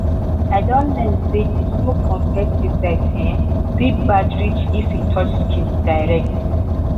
i don learn say the smoke from pesticide um fit bad reach if e touch skin direct.